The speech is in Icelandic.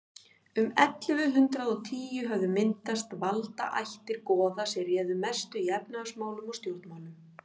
um ellefu hundrað og tíu höfðu myndast valdaættir goða sem réðu mestu í efnahagsmálum og stjórnmálum